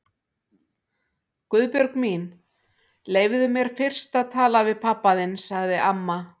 Guðbjörg mín, leyfðu mér fyrst að tala við pabba þinn sagði amma.